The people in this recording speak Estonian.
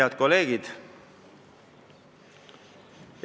Head kolleegid!